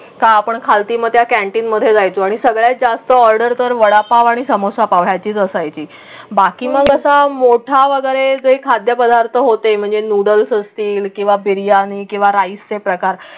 का आपण खालती मध्ये कॅन्टीनमध्ये जायचं आणि सगळ्यात जास्त ऑर्डर तर वडापाव आणि समोसा पाव याची असायची. बाकी मग तसं मोठा वगैरे जे खाद्य पदार्थ होते म्हणजे नूडल्स असतील किंवा बिर्याणी किंवा राइसचे प्रकार.